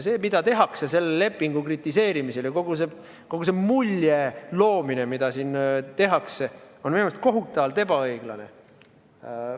See, mida tehakse selle lepingu kritiseerimisel, ja kogu see mulje loomine, mida siin tehakse, on minu arust kohutavalt ebaõiglane.